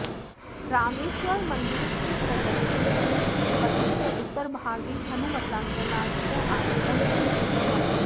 रामेश्वरमन्दिरस्य प्रदक्षिणपथस्य उत्तरभागे हनुमता कैलासतः आनीतं शिवलिङ्गम् अस्ति